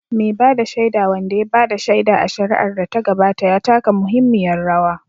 Mai ba da shaida, wanda ya ba da shaida a shari'ar da ta gabata, ya taka muhimmiyar rawa